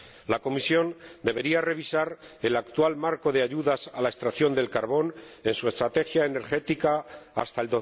La Comisión debería revisar el actual marco de ayudas a la extracción del carbón en su estrategia energética hasta